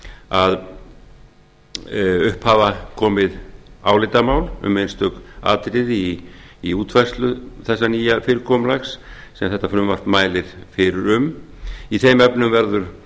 að skoðanir hafa verið skiptar um einstök atriði í útfærslu þess nýja fyrirkomulags sem þetta frumvarp mælir fyrir um í þeim